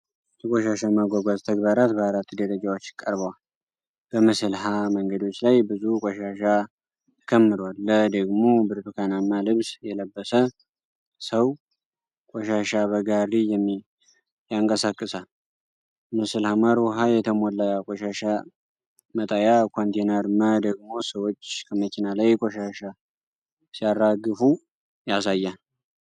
የቆሻሻ ማጓጓዝ ተግባራት በአራት ደረጃወች ቀርበዋል። በምስል(ሀ) መንገዶች ላይ ብዙ ቆሻሻ ተከምሯል፣ (ለ) ደግሞ ብርቱካናማ ልብስ የለበሰ ሰው ቆሻሻ በጋሪ ያንቀሳቅሳል። ምስል (ሐ) የተሞላ የቆሻሻ መጣያ ኮንቴነር፣ (መ) ደግሞ ሰዎች ከመኪና ላይ ቆሻሻ ሲያራግፉ ያሳያል።